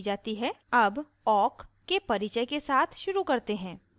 अब awk के परिचय के साथ शुरू करते हैं